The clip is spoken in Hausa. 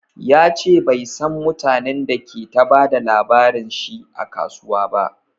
Yace bai San mutanen da ke ta bada labarin shi a kasuwa ba